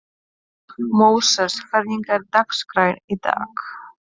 Móses, hvernig er dagskráin í dag?